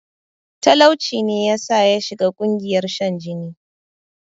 Talauci ne yasa yashiga ƙungiyar shan jini